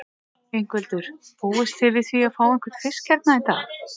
Ingveldur: Búist þið við því að fá einhvern fisk hérna í dag?